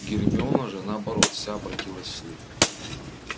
гермиона же наоборот вся обратилась в слух